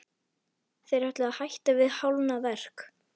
Þeir ætluðu að hætta við hálfnað verk.